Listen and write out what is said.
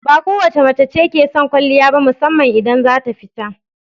Ba kowace mace ke son kwaliya ba musamman idan za ta fita.